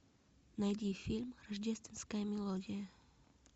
найди фильм рождественская мелодия